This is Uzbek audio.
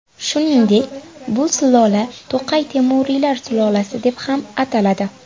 Shuningdek, bu sulola To‘qay temuriylar sulolasi deb ham ataladi.